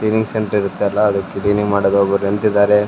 ಇನ್ಸೆಂಟ್ ಇರತ್ತಲ್ಲ ಅದಕ್ಕ್ ಮಾಡೋರ್ ಒಬ್ರ್ ನಿಂತಿದ್ದಾರೆ.